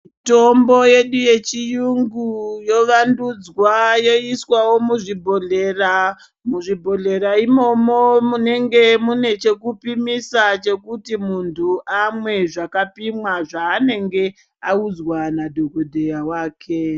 Mutombo yedu yechiyungu yovandudzwayoiswawo muzhibhodhleya . Muzibhodhleya imomo munenge mune chekupimisa chokuti muntu amwe zvakapimwa zvaanenge audzwa nadhokodheya wake